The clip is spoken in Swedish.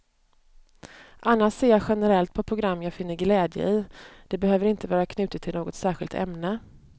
Annars ser jag generellt på program jag finner glädje i, det behöver inte vara knutet till något särskilt ämne.